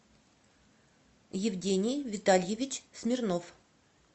евгений витальевич смирнов